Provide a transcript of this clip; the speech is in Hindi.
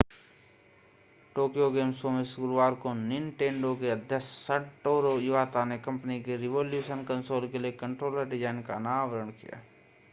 टोक्यो गेम शो में गुरूवार को निन्टेन्डो के अध्यक्ष सटोरू इवाता ने कंपनी के रिवोल्यूशन कंसोल के लिए कंट्रोलर डिजाइन का अनावरण किया